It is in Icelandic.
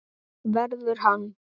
Verður hann.